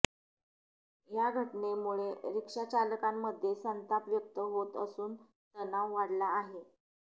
या घटनेमुळे रिक्षाचालकांमध्ये संताप व्यक्त होत असून तणाव वाढला आहे